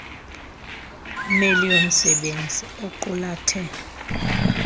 mail yomsebenzisi equlathe